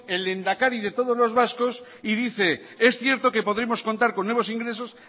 el lehendakari de todos los vascos y dice es cierto que podremos contar con nuevos ingresos